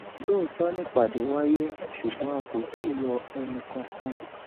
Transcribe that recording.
lóòótọ nìpàdé wáyé ṣùgbọn a kò tí ì yọ ẹnìkankan